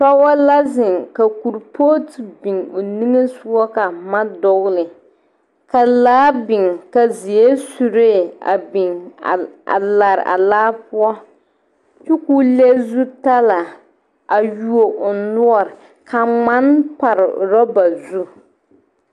Pɔge la zeŋ ka kuripooti biŋ o nimisogɔ ka boma dogle ka laa niŋ ka zeɛre suree a biŋ a lare a laa poɔ kyɛ k,o le zutalaa a yuo o noɔre ka ŋmane pare orɔba zu.